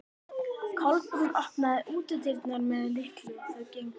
Kolbrún opnaði útidyrnar með lykli og þau gengu inn.